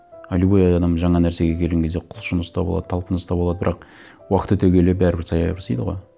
а любой адам жаңа нәрсеге келген кезде құлшыныста болады талпыныста болады бірақ уақыт өте келе бәрібір саябырсиды ғой